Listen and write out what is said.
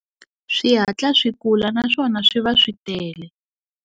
Swi hatla swi kula naswona swi va swi tele.